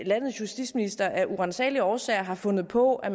landets justitsminister af uransagelige årsager har fundet på at